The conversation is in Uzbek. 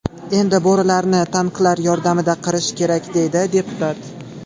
Endi bo‘rilarni tanklar yordamida qirish kerak,” deydi deputat.